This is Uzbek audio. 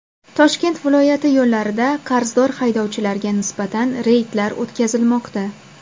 Toshkent viloyati yo‘llarida qarzdor haydovchilarga nisbatan reydlar o‘tkazilmoqda.